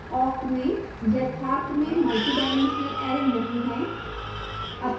awk में यथार्थ में multidimensional array नहीं है